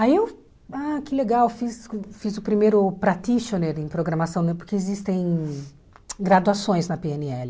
Aí eu, ah que legal, fiz fiz o primeiro practitioner em programação, porque existem graduações na pê ene le.